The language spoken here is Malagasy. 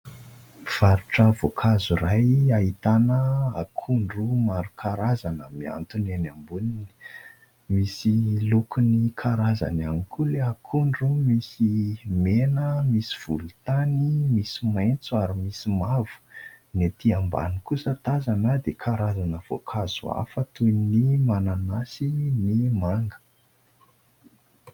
Mpivarotra voankazo iray ahitana akondro maro karazana mihantona eny amboniny. Misy lokony karazana ihany koa Ilay akondro misy mena, misy volontany, misy maitso ary misy mavo. Ny ety ambany kosa tazana dia karazana voankazo hafa toy ny mananasy, ny manga.